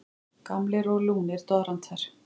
Gamlir og lúnir doðrantar.